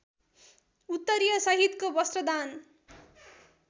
उत्तरीय सहितको वस्त्रदान